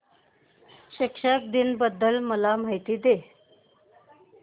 शिक्षक दिन बद्दल मला माहिती दे